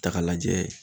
Ta k'a lajɛ